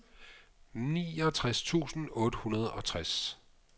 niogtres tusind otte hundrede og tres